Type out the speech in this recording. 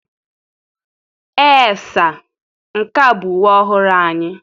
Ee saa, nke a bụ uwe ọhụrụ anyị.